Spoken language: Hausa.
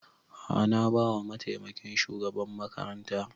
A'a na ba wa mataimakin shugaban makaranta